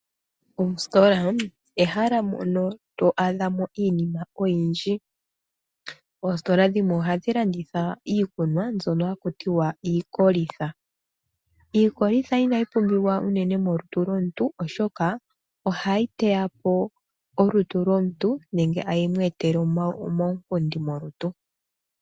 Oositola ehala mono to adhamo iinima oyindji. Oositola dhimwe ohadhi landitha iikunwa mbyono hakutiwa iikolitha. Iikolitha inayi pumbiwa uunene molutu lomuntu oshoka ohayi teyapo olutu lomuntu nenge tayi mu etele omaunkundi molutu.